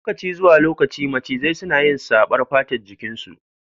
Lokaci zuwa lokaci macizai suna yi saɓar fatar jikin su